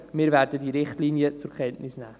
Wir werden diese Richtlinien zur Kenntnis nehmen.